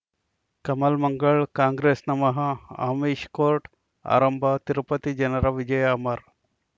ಕಮಲ್ ಮಂಗಳ್ ಕಾಂಗ್ರೆಸ್ ನಮಃ ಅಮಿಷ್ ಕೋರ್ಟ್ ಆರಂಭ ತಿರುಪತಿ ಜನರ ವಿಜಯ ಅಮರ್